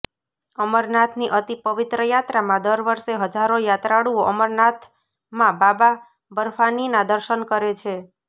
અમરનાથની અતિ પવિત્ર યાત્રામાં દર વર્ષે હજારો યાત્રાળુઓ અમરનાથમાં બાબા બર્ફાનીનાં દર્શન કરે છે